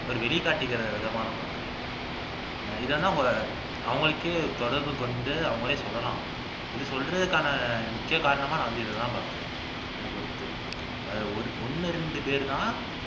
ஒரு வெளிக்காட்டிக்கிற விதமான நான் பாக்குறேன் இதெல்லாம் அவங்களுக்கே தொடர்பு கொண்டு அவங்களே சொல்லலாம் இது சொல்றதுக்கான முக்கிய காரணமா இதைதான் பாக்கிறேன் என்ன பொறுத்து ஒரு ஒண்ணு ரெண்டு பேரு தான்